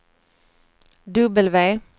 W